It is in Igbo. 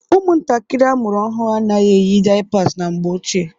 Ụmụntakịrị amụrụ ọhụrụ anaghị-eyi daiyapas na mgbe ochie.